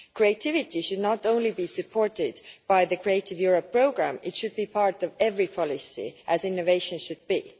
Creativity should not only be supported by the Creative Europe programme, it should be part of every policy, as innovation should be.